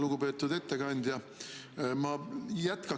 Lugupeetud ettekandja!